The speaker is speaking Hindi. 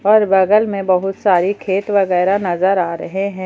और बगल में बहुत सारी खेत वगैरह नजर आ रहे हैं।